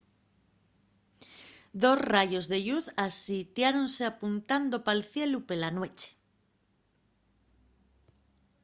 dos rayos de lluz asitiáronse apuntando pal cielu pela nueche